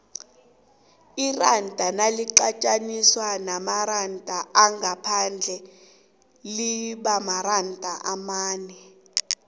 iranda naliqathaniswa neenarha zangaphandle limaranda amane